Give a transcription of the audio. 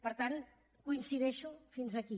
per tant hi coincideixo fins aquí